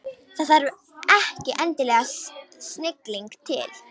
Það þarf ekki endilega snilling til.